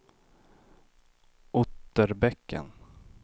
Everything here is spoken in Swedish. Otterbäcken